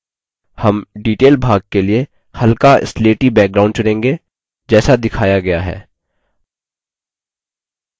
हम detail भाग के लिए हल्का स्लेटी background चुनेंगे जैसा दिखाया गया है